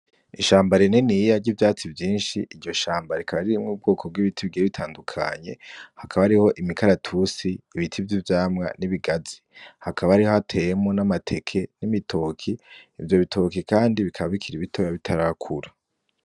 Ishamba rininiya ry'ivyatsi vyinshi iryo shamba rikaba ririmwo ubwoko bw'ibiti bigiye bitandukanye hakaba hariho imikaratusi ibiti vy'ivyamwa n'ibigazi hakaba hari hateyemwo n'amateke n'ibitoki ivyo bitoki kandi bikaba bikiri bitoya bitarakura